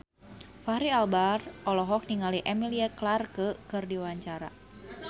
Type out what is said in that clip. Fachri Albar olohok ningali Emilia Clarke keur diwawancara